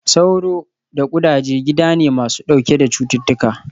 Sauro da ƙudaje gida ne masu ɗauke da cututtuka